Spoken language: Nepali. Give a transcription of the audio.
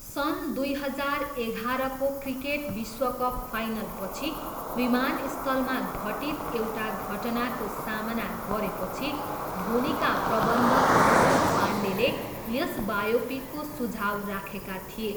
सन् दुई हजार एघाह्रको क्रिकेट विश्वकप फाइनलपछि विमानस्थलमा घटित एउटा घटनाको सामना गरेपछि धोनीका प्रबन्धक अरुण पाण्डेले यस बायोपिकको सुझाउ राखेका थिए।